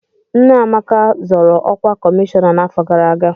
Nne Amaka zọrọ ọkwa kọmishọna n'afọ gara aga.